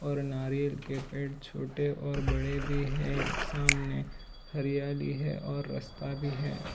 और नारियल के पेड़ छोटे और बड़े भी हैं सामने हरियाली है और रस्ता भी है।